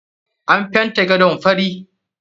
An fenta gadon fari.